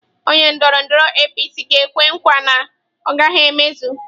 Onye ndọrọndọrọ APC ga-ekwe nkwa na ọ gaghị emezu.